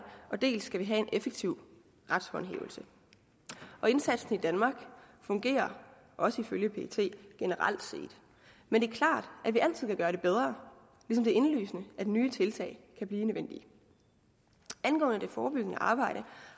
dels skal vi have en effektiv retshåndhævelse indsatsen i danmark fungerer også ifølge pet generelt set men det er klart at vi altid kan gøre det bedre ligesom det er indlysende at nye tiltag kan blive nødvendige angående det forebyggende arbejde